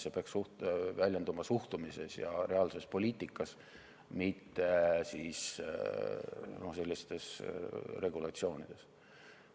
See peaks väljenduma suhtumises ja reaalses poliitikas, mitte sellistes regulatsioonides.